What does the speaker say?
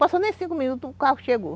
Passaram nem cinco minutos e o carro chegou.